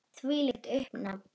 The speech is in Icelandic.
Þvílíkt uppnám.